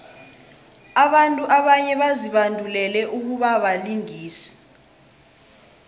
abantu abanye bazibandulele ukubabalingisi